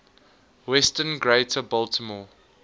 western greater baltimore